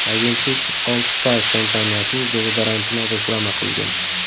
Agentlik Old Spice kompaniyasining dezodorantini reklama qilgan.